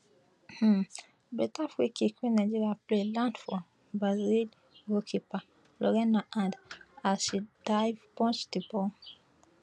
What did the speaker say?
um beta free kick wey nigeria play land for brazil goalkeeper lorena hand as she dive punch di ball